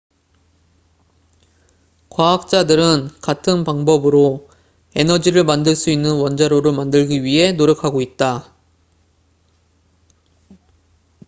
과학자들은 같은 방법으로 에너지를 만들 수 있는 원자로를 만들기 위해 노력하고 있다